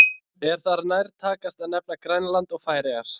Er þar nærtækast að nefna Grænland og Færeyjar.